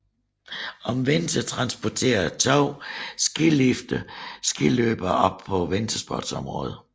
Om vinteren transporterer to skilifte skiløbere op til vintersportsområdet